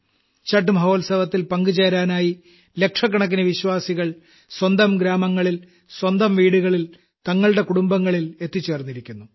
ഛഠ് മഹോത്സവത്തിൽ പങ്കുചേരാനായി ലക്ഷക്കണക്കിന് വിശ്വാസികൾ സ്വന്തം ഗ്രാമങ്ങളിൽ സ്വന്തം വീടുകളിൽ തങ്ങളുടെ കുടുംബങ്ങളിൽ എത്തിച്ചേർന്നിരിക്കുന്നു